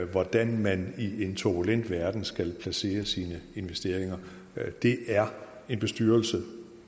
hvordan man i en turbulent verden skal placere sine investeringer det er en bestyrelse